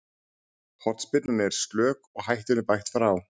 Hornspyrnan er slök og hættunni bægt frá.